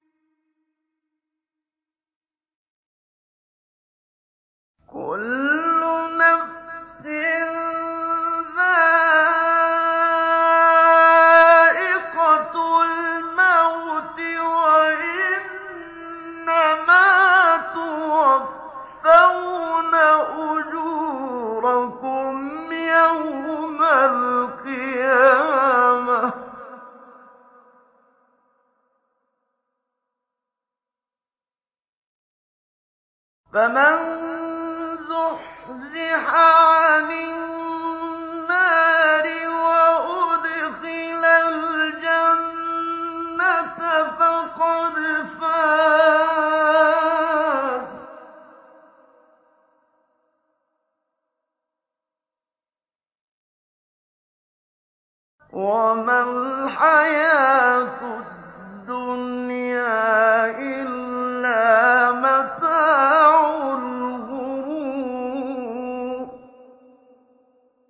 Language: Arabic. كُلُّ نَفْسٍ ذَائِقَةُ الْمَوْتِ ۗ وَإِنَّمَا تُوَفَّوْنَ أُجُورَكُمْ يَوْمَ الْقِيَامَةِ ۖ فَمَن زُحْزِحَ عَنِ النَّارِ وَأُدْخِلَ الْجَنَّةَ فَقَدْ فَازَ ۗ وَمَا الْحَيَاةُ الدُّنْيَا إِلَّا مَتَاعُ الْغُرُورِ